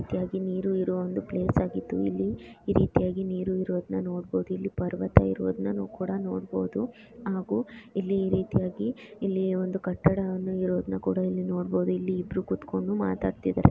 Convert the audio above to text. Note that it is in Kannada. ಅತಿಯಾಗಿ ನೀರು ಇರುವ ಒಂದು ಪ್ಲೇಸ್ ಆಗಿದ್ದು ಇಲ್ಲೀ ಈ ರೀತಿಯಾಗಿ ನೀರು ಇರೋದ್ನ ನೋಡ್ಬಹುದು. ಇಲ್ಲಿ ಪರ್ವತ ಇರೋದ್ನ ಕೂಡ ನೋಡ್ಬಹುದು ಹಾಗು ಇಲ್ಲಿ ಈ ರೀತಿಯಾಗಿ ಇಲ್ಲೀ ಒಂದು ಕಟ್ಟಡನ್ನ ಇರೋದ್ನ ಕೂಡ ಇಲ್ಲಿ ನೋಡ್ಬಹುದು. ಇಲ್ಲಿ ಇಬ್ಬ್ರು ಕುತ್ಕೊಂಡು ಮಾತಾಡ್ತಿದಾರೆ.